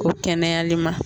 Ko kɛnɛyali ma.